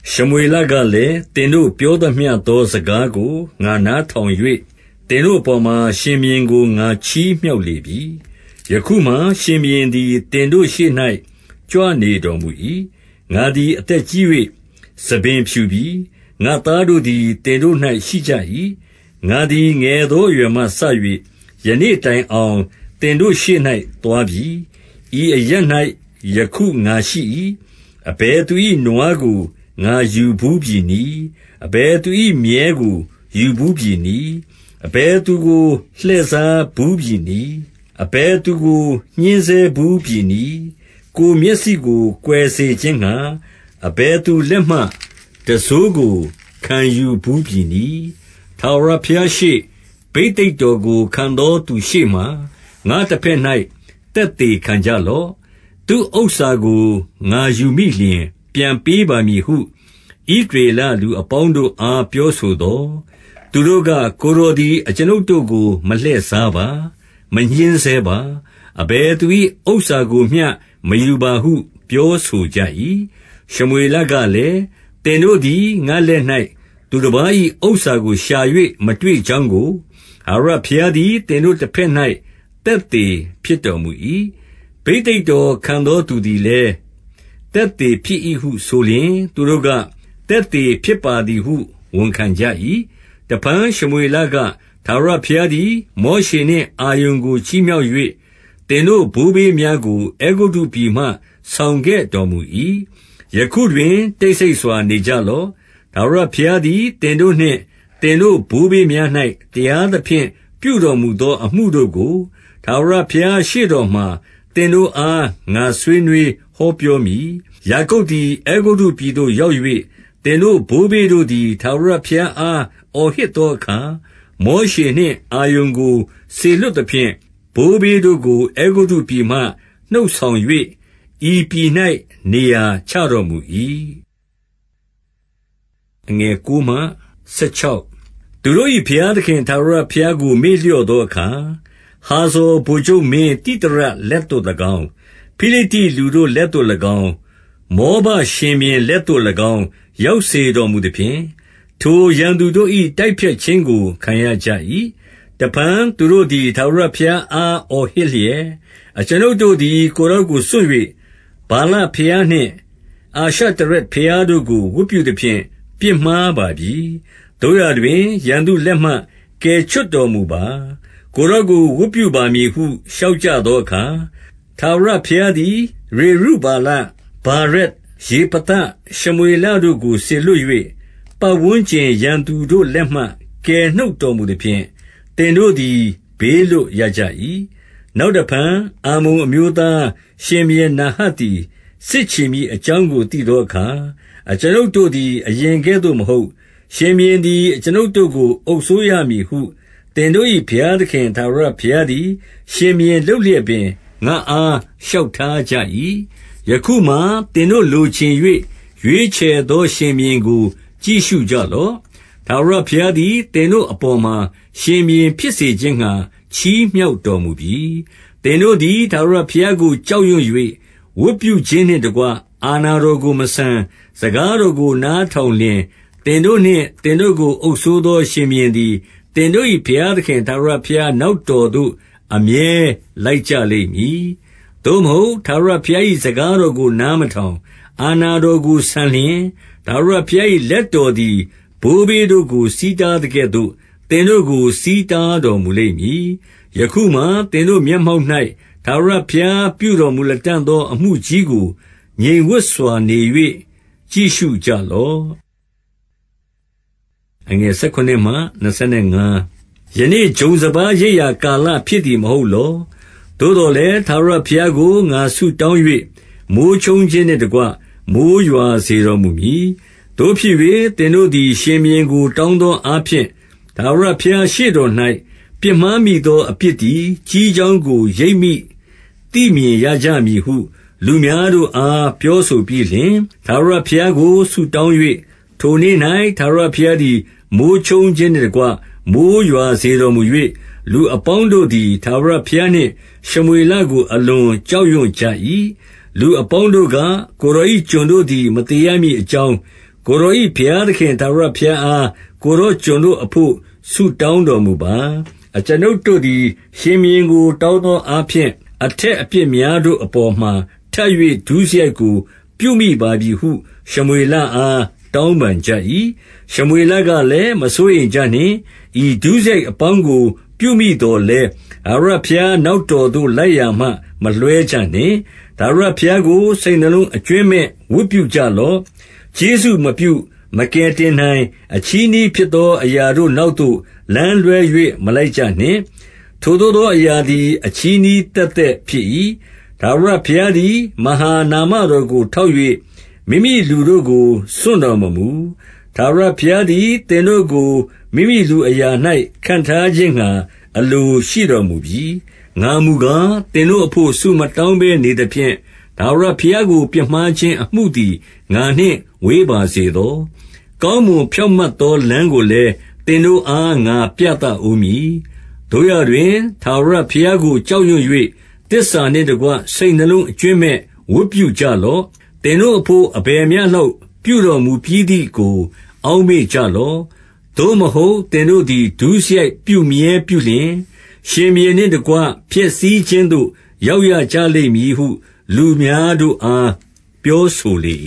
ရှမွေလကလည်း၊ သင်တို့ပြောသမျှသော စကားကို ငါနားထောင်၍၊ သင်တို့အပေါ်မှာ ရှင်ဘုရင်ကို ငါချီးမြှောက်လေပြီ။ 2 ယခုမှာ ရှင်ဘုရင်သည် သင်တို့ရှေ့၌ ကြွနေတော်မူ၏။ ငါသည် အသက်ကြီး၍ ဆံပင်ဖြူပြီ။ ငါ့သားတို့ သည် သင်တို့၌ ရှိကြ၏။ ငါသည် ငယ်သော အရွယ်မှ စ၍ ယနေ့တိုင်အောင် သင်တို့ရှေ့၌ သွားပြီ။ 3 ဤအရပ်၌ ယခု ငါရှိ၏။ အဘယ်သူ၏ နွားကို ငါယူဘူးပြီနည်း။ အဘယ်သူ၏ မြည်းကို ယူဘူးပြီ နည်း။ အဘယ်သူကို လှည့်စားဘူးပြီနည်း။ အဘယ်သူကို ညှဉ်းဆဲဘူးပြီနည်း။ ကိုယ်မျက်စိကို ကွယ် စေခြင်းငှါ အဘယ်သူလက်မှ တံစိုးကို ခံဘူးပြီနည်း။ ထာဝရဘုရားရှေ့၊ ဘိသိက်တော်ကို ခံသော သူရှေ့မှာ ငါ့တဘက်၌ သက်သေခံကြလော့။ သူ့ဥစ္စာကို ငါယူမိလျှင် ပြန်ပေးပါမည်ဟု ဣသရေလ လူအပေါင်းတို့အား ပြောဆိုသော်၊ 4 သူတို့က၊ ကိုယ်တော်သည် အကျွန်ုပ်တို့ကို မလှည့်စားပါ။ မညှဉ်းဆဲပါ။ အဘယ်သူ၏ ဥစ္စာကိုမျှ မယူပါဟု ပြောဆိုကြ၏။ 5 ရှမွေလကလည်း၊ သင်တို့သည် ငါ့လက်၌ သူတပါး၏ ဥစ္စာကို ရှာ၍ မတွေ့ကြောင်းကို ထာဝရဘုရား သည် သင်တို့တဘက်၌ သက်သေဖြစ်တော်မူ၏။ ဘိသိက်တော်ကို ခံသောသူလည်း သက်သေဖြစ်၏ ဟု ဆိုလျှင်၊ သူတို့က၊ သက်သေဖြစ်ပါသည်ဟု ဝန်ခံကြ၏။ 6 တဖန် ရှမွေလက၊ ထာဝရဘုရားသည် မောရှေနှင့် အာရုန်ကို ချီးမြှောက်၍၊ သင်တို့ဘိုးဘေးများကို အဲဂုတ္တုပြည်မှ ဆောင်ခဲ့တော်မူ၏။ 7 ယခုတွင် တိတ်ဆိတ်စွာနေကြလော့။ ထာဝရဘုရားသည် သင်တို့နှင့် သင်တို့ဘိုးဘေးများ၌ တရား သဖြင့် ပြုတော်မူသောအမှုတို့ကို ထာဝရဘုရား ရှေ့တော်မှာ သင်တို့အား ငါဆွေးနွေး ဟောပြောမည်။ 8 ယာကုပ်သည် အဲဂုတ္တုပြည်သို့ ရောက်၍၊ သင်တို့ဘိုးဘေးတို့သည် ထာဝရဘုရားအား အော်ဟစ်သော အခါ၊ မောရှေနှင့် အာရုန်ကို စေလွှတ်သဖြင့် ဘိုးဘေးတို့ကို အဲဂုတ္တုပြည်မှ နှုတ်ဆောင်၍ ဤပြည်၌ နေရာချတော်မူ၏။ 9 သူတို့၏ ဘုရားသခင် ထာဝရဘုရားကို မေ့လျော့သောအခါ၊ ဟာဇော် ဗိုလ်ချုပ်မင်း သိသရလက်သို့ ၎င်း၊ ဖိလိတ္တိလူတို့ လက်သို့၎င်း၊ မောဘရှင် ဘုရင်လက်သို့၎င်း ရောက်စေတော်မူသဖြင့်၊ ထိုရန်သူတို့၏ တိုက်ဖျက်ခြင်းကို ခံရကြ၏။ 10 တဖန်သူတို့သည် ထာဝရဘုရားအား အော်ဟစ်လျက်၊ အကျွန်ုပ်တို့သည် ကိုယ်တော်ကို စွန့်၍၊ ဗာလ ဘုရားနှင့် အာရှတရက်ဘုရားတို့ကို ဝတ်ပြုသဖြင့် ပြစ်မှားပါပြီ။ သို့ရာတွင် ရန်သူလက်မှ ကယ်ချွတ် တော်မူပါ။ ကိုယ်တော်ကို ဝတ်ပြုပါမည်ဟု လျှောက်ကြသောအခါ၊- 11 ထာဝရဘုရားသည် ယေရုဗ္ဗာလ၊ ဗာရက်၊ ယေဖသ၊ ရှမွေလတို့ကို စေလွှတ်၍၊ ပတ်ဝန်းကျင် ရန်သူတို့ လက်မှ ကယ်နှုတ်တော်မူသဖြင့် သင်တို့သည် ဘေးလွတ်ရကြ၏။ 12 နောက်တဖန် အမ္မုန်အမျိုးသားရှင်ဘုရင် နာဟတ်သည် စစ်ချီမည်အကြောင်းကို သိသောအခါ၊ အကျွန်ုပ်တို့သည် အရင်ကဲ့သို့မဟုတ်၊ ရှင်ဘုရင်သည် အကျွန်ုပ်တို့ကို အုပ်စိုးရမည်ဟု သင်တို့၏ ဘုရားသခင် ထာဝရဘုရားသည် ရှင်ဘုရင် လုပ်လျက်ပင် ငါ့အား လျှောက်ထားကြ၏။ 13 ယခုမှာ သင်တို့လိုချင်၍ ရွေးချယ်သော ရှင်ဘုရင်ကို ကြည့်ရှုကြလော့။ ထာဝရဘုရားသည် သင်တို့ အပေါ်မှာ ရှင်ဘုရင်ဖြစ်စေခြင်းငှါ ချီးမြှောက်တော်မူပြီ။- 14 သင်တို့သည် ထာဝရဘုရားကို ကြောက်ရွံ့၍ ဝတ်ပြုခြင်းနှင့်တကွ အာဏာတော်ကို မဆန်၊ စကား တော်ကို နားထောင်လျှင် သင်တို့နှင့် သင်တို့ကို အုပ်စိုးသော ရှင်ဘုရင်သည် သင်တို့၏ ဘုရားသခင် ထာဝရဘုရားနောက်တော်သို့ အမြဲလိုက်ကြလိမ့်မည်။ 15 သို့မဟုတ် ထာဝရဘုရား၏ စကားတော်ကို နားမထောင်၊ အာဏာတော်ကို ဆန်လျှင်၊ ထာဝရ ဘုရား၏ လက်တော်သည် ဘိုးဘေးတို့ကို ဆီးတားသကဲ့သို့ သင်တို့ကို ဆီးတားတော်မူလိမ့်မည်။ 16 ယခုမှာ သင်တို့ မျက်မှောက်၌ ထာဝရဘုရားပြုတော်မူ လတံ့သော အမှုကြီးကို ငြိမ်ဝပ်စွာ နေ၍ ကြည့်ရှုလော့။ 17 ယနေ့ ဂျုံစပါးရိတ်ရာ ကာလဖြစ်သည် မဟုတ်လော။ သို့သော်လည်း ထာဝရဘုရားကို ငါဆုတောင်း ၍ မိုဃ်းချုန်းခြင်းနှင့်တကွ မိုဃ်းရွာစေတော်မူမည်။ သို့ဖြစ်၍ သင်တို့သည် ရှင်ဘုရင်ကို တောင်း သောအားဖြင့် ထာဝရဘုရားရှေ့တော်၌ ပြစ်မှားမိသောအပြစ်သည် ကြီးကြောင်းကို ရိပ်မိသိမြင်ရ ကြမည်ဟု လူများတို့အား ပြောဆိုပြီးလျှင်၊- 18 ထာဝရဘုရားကို ဆုတောင်း၍၊ ထိုနေ့၌ ထာဝရဘုရားသည် မိုဃ်းချုန်းခြင်းနှင့်တကွ မိုဃ်းရွာစေ တော်မူ၍၊ လူအပေါင်းတို့သည် ထာဝရဘုရားနှင့်ရှမွေလကို အလွန်ကြောက်ရွံ့ကြ၏။ 19 လူအပေါင်းတို့က၊ ကိုယ်တော်၏ ကျွန်တို့သည် မသေရမည်ကြောင်း၊ ကိုယ်တော်၏ ဘုရားသခင် ထာဝရ ဘုရားအား ကိုယ်တော်ကျွန်တို့အဘို့ ဆုတောင်းတော်မူပါ။ အကျွန်ုပ်တို့သည် ရှင်ဘုရင်ကို တောင်း သောအားဖြင့် အထက်အပြစ်များတို့အပေါ်မှာ ထပ်၍ ဒုစရိုက်ကို ပြုမိပါပြီဟု ရှမွေလအား တောင်း ပန်ကြ၏။ 20 ရှမွေလကလည်း မစိုးရိမ်ကြနှင့်။ ဤဒုစရိုက်အပေါင်းကို ပြုမိသော်လည်း၊ ထာဝရဘုရားနောက် တော်သို့ လိုက်ရာမှ မလွှဲကြနှင့်။ ထာဝရဘုရားကို စိတ်နှလုံး အကြွင်းမဲ့ ဝတ်ပြုကြလော့။ 21 ကျေးဇူးမပြု မကယ်တင်နိုင်၊ အချည်းနှီးဖြစ်သော အရာတို့နောက်သို့ လမ်းလွှဲ၍ မလိုက်ကြနှင့်။ ထိုသို့သောအရာသည် အချည်းနှီး သက်သက်ဖြစ်၏။ 22 ထာဝရဘုရားသည် မဟာနာမတော်ကို ထောက်၍ မိမိလူတို့ကို စွန့်တော်မမူ။ ထာဝရဘုရားသည် သင်တို့ကို မိမိလူအရာ၌ ခန့်ထားခြင်းငှါ အလိုရှိတော်မူပြီ။ 23 ငါမူကား သင်တို့အဘို့ ဆုမတောင်းဘဲ နေသဖြင့်၊ ထာဝရဘုရားကို ပြစ်မှားခြင်းအမှုသည် ငါနှင့် ဝေးပါစေသော။ ကောင်းမွန်ဖြောင့်မတ်သော လမ်းကိုလည်း သင်တို့အား ငါပြသဦးမည်။ 24 သို့ရာတွင် ထာဝရဘုရားကို ကြောက်ရွံ့၍ သစ္စာနှင့်တကွ စိတ်နှလုံးအကြွင်းမဲ့ ဝတ်ပြုကြလော့။ သင်တို့အဘို့ အဘယ်မျှလောက် ပြုတော်မူပြီးသည်တို အောက်မေ့ကြလော့။ 25 သို့မဟုတ် သင်တို့သည် ဒုစရိုက် ပြုမြဲပြုလျှင်၊ ရှင်ဘုရင်နှင့်တကွ ပျက်စီးခြင်းသို့ ရောက်ရကြလိမ့် မည်ဟု လူများတို့အား ပြောဆိုလေ